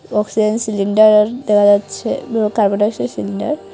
Oxygen cylinder দেখা আছে um carbon dioxide cylinder.